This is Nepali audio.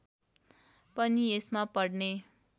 पनि यसमा पढ्ने